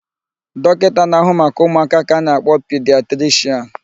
Dọkịta na-ahụ maka ụmụaka ka a na-akpọ pidiatrishịan.